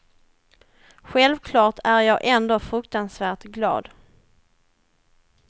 Självklart är jag ändå fruktansvärt glad.